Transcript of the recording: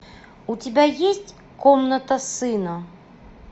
у тебя есть комната сына